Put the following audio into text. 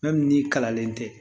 Fɛn min ni kalanlen tɛ